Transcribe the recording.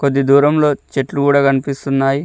కొద్ది దూరంలో చెట్లు గూడా కనిపిస్తున్నాయ్.